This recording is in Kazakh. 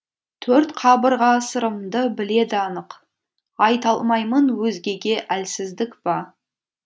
төрт қабырға сырымды біледі анық айталмаймын өзгеге әлсіздік па